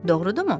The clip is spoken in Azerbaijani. Doğrudurmu?